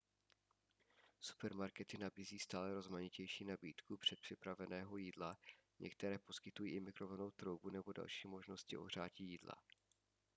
supermarkety nabízí stále rozmanitější nabídku předpřipraveného jídla některé poskytují i mikrovlnnou troubu nebo další možnosti ohřátí jídla